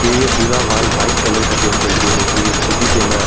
ये पूरा wall white colour का पेंट करके है फिर सी_सी कैमरा --